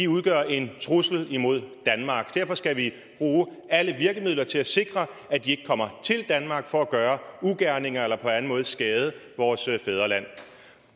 udgør en trussel imod danmark og derfor skal vi bruge alle virkemidler til at sikre at de ikke kommer til danmark for at gøre ugerninger eller på anden måde skade vores fædreland